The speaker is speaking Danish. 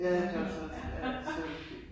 Ja der gjorde så ja Sølvpilen